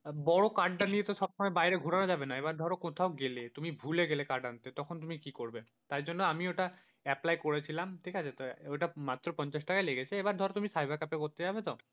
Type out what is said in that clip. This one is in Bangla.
বড় card নিয়ে তো সবসময় বাইরে ঘোরাও যাবে না এবার ধরো কোথাও গেলে তুমি ভুলে গেলে card আনতে তখন তুমি কি করবে তাই জন্য আমি ওটা apply করেছিলাম ঠিক আছে তো এইটা মাত্র পঞ্চাশ টাকায় লেগেছে, এবার ধরো তুমি cyber cafe করতে যাবে তো,